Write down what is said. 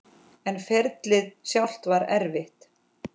En ferlið sjálft var erfitt?